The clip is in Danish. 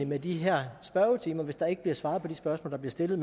med de her spørgetimer hvis der ikke bliver svaret på det spørgsmål der bliver stillet